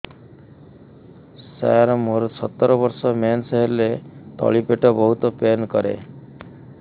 ସାର ମୋର ସତର ବର୍ଷ ମେନ୍ସେସ ହେଲେ ତଳି ପେଟ ବହୁତ ପେନ୍ କରେ